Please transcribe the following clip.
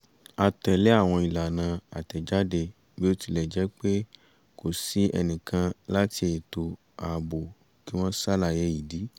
a tẹ̀lé àwọn ìlànà àtẹ̀jáde bí ó tilẹ̀ jẹ́ pé kò sí ẹnìkan láti ètò ààbò kí wọ́n ṣàlàyé ìdí